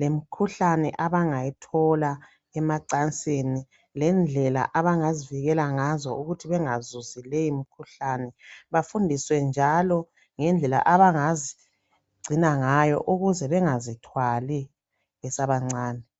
lemkhuhlane abangayithola emacansini lendlela abangazivikela ngazo ukuthi bangazuzi leyo mikhuhlane. Bafundiswe njalo ngendlela abangazigcina ngayo ukuze bengazithwali besabancane.